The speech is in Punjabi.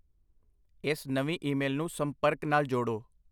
ਇਸ ਨਵੀਂ ਈਮੇਲ ਨੂੰ ਸੰਪਰਕ ਨਾਲ ਜੋੜੋ।